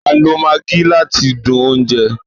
A lo Maggie láti dùn oúnjẹ